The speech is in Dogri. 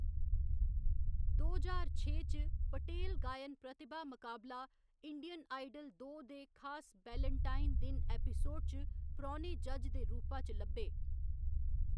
दो ज्हार छे च, पटेल गायन प्रतिभा मकाबला इंडियन आइडल दो दे खास वेलेंटाइन दिन एपिसोड च परौह्‌‌‌ने जज दे रूपा च लब्भे।